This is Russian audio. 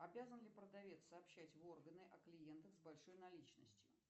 обязан ли продавец сообщать в органы о клиентах с большой наличностью